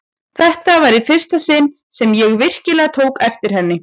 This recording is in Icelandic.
Þetta var í fyrsta sinn sem ég virkilega tók eftir henni.